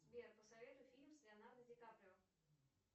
сбер посоветуй фильм с леонардо ди каприо